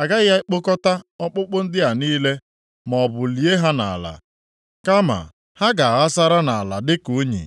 A gaghị ekpokọta ọkpụkpụ ndị a niile, maọbụ lie ha nʼala. Kama ha ga-aghasara nʼala dịka unyi.